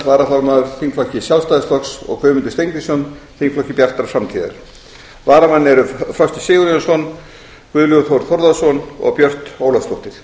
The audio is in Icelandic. varaformaður þingflokki sjálfstæðisflokks og guðmundur steingrímsson þingflokki bjartrar framtíðar varamenn eru frosti sigurjónsson guðlaugur þór þórðarson og björt ólafsdóttir